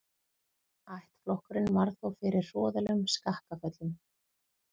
Ættflokkurinn varð þó fyrir hroðalegum skakkaföllum.